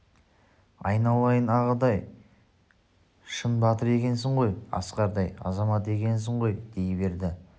айналайын ағатай-ай шын батыр екенсің ғой асқардай азамат екенсің ғой дей берді